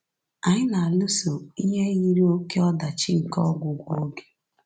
Anyị na-alụso ihe yiri oké ọdachi nke ọgwụgwụ oge